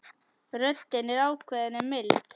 Röddin er ákveðin en mild.